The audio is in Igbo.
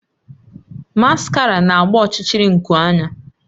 Maskara na-agba ọchịchịrị nku anya